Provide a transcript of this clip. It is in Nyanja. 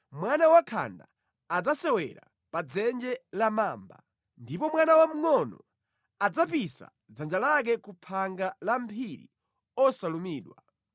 Mwana wakhanda adzasewera pa dzenje la mamba, ndipo mwana wamngʼono adzapisa dzanja lake ku phanga la mphiri osalumidwa.